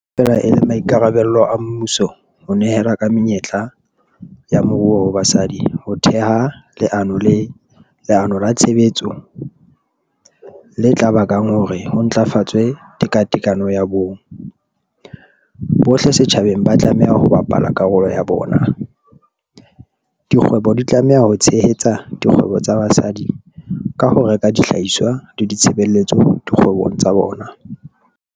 Le ha feela e le maikarabelo a mmuso ho nehela ka menyetla ya moruo ho basadi ho theha leano la tshebetso le tla bakang hore ho ntlafatswe tekatekano ya bong, bohle setjhabeng ba tlameha ho bapala karolo ya bona. Dikgwebo di tlameha ho tshehetsa dikgwebo tsa basadi ka ho reka dihlahiswa le ditshebeletso dikgwebong tsa bona.